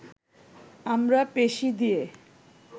আমরা পেশি দিয়ে